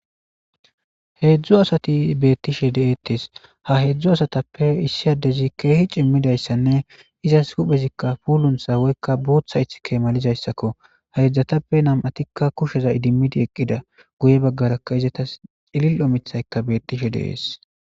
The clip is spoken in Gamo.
heedzdzu asati beettishe de7eettes ha heedzdzu asatappe issi addezi keehi cimmidayssanne izas huphezikka puulun sa woykka buutha ith keemalizayssakko ha yedzdzatappe nam7atikka kusheza idimmidi eqqida goye baggarakka izatas cililo mithayka beettishe de7ees